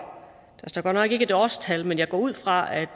der står godt nok ikke et årstal men jeg går ud fra